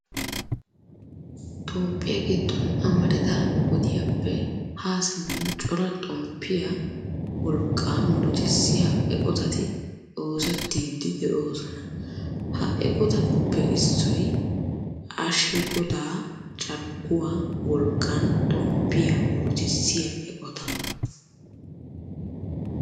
Toophphiya giddon amarida wodiyappe Haa simmin cora xomppiya wolqqaa murutissiya eqotati oosettiiddi de'oosona. Ha eqotatuppe issoy ashegodaa carkkuwa wolqqan xomppiya murutissiya eqotaa.